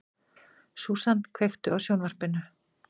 Susan, kveiktu á sjónvarpinu.